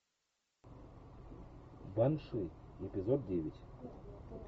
банши эпизод девять